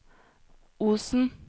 Osen